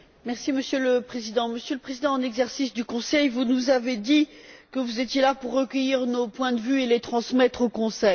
Monsieur le Président, Monsieur le Président en exercice du Conseil, vous nous avez dit que vous étiez là pour recueillir nos points de vue et les transmettre au Conseil.